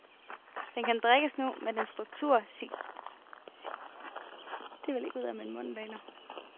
Den kan drikkes nu, men dens struktur signalerer, at den sikkert bliver bedre med årene.